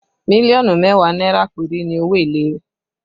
Million mẹ́wàá náírà péré ni owó èlé rẹ̀